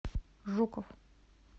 жуков